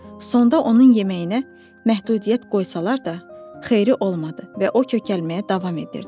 Sonda onun yeməyinə məhdudiyyət qoysalar da, xeyri olmadı və o kökəlməyə davam edirdi.